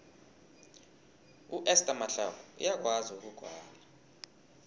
uester mahlangu uyakwazi ukugwala